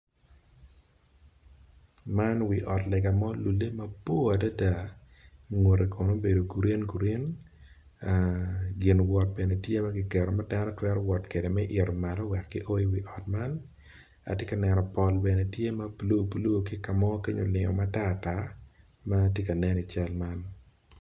Man wi ot lega ma olulle mabor ngute kono obedo green green gin wot tye ma kiketo ma itwero wot kwede i wi ot man pol tye ma bule blue ma tye ka nen i cal man